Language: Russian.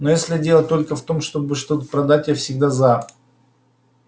но если дело только в том чтобы что-то продать я всегда за